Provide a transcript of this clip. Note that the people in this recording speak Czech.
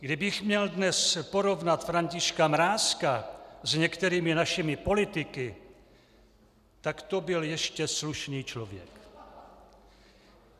Kdybych měl dnes porovnat Františka Mrázka s některými našimi politiky, tak to byl ještě slušný člověk.